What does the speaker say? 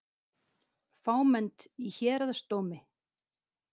Fámennt í héraðsdómi